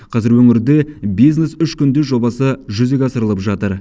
қазір өңірде бизнес үш күнде жобасы жүзеге асырылып жатыр